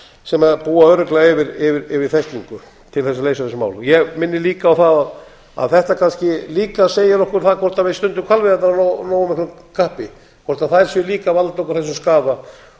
sem búa örugglega yfir þekkingu til þess að leysa þessi mál ég minni líka á það að þetta kannski líka segir okkur það hvort við stundum hvalveiðarnar af nógu miklu kappi hvort þær séu líka að valda okkur þessum skaða